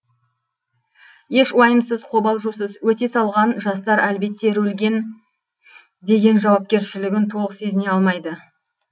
еш уайымсыз қобалжусыз өте салған жастар әлбетте рөлген деген жауапкершілігін толық сезіне алмайды